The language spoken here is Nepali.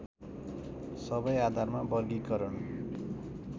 सबै आधारमा वर्गीकरण